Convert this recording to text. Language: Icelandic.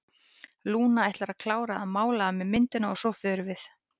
Lúna ætlar að klára að mála af mér myndina og svo förum við.